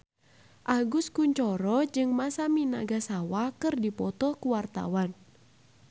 Agus Kuncoro jeung Masami Nagasawa keur dipoto ku wartawan